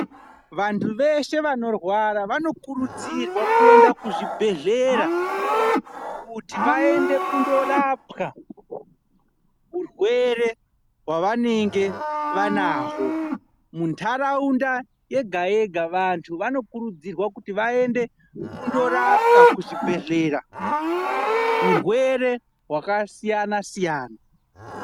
Vantu veshe vanorwara vanokurudzirwa kuenda kuzvibhedhlera, kuti vaende kundorapwa urwere hwavanenge vanaho. Muntaraunda yega yega vantu vanokurudzirwa kuti vaende kundorapwa kuzvibhedhlera, urwere hwakaasiyana-siyana.